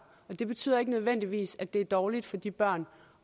og det betyder ikke nødvendigvis at det er dårligt for de børn